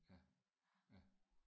Ja ja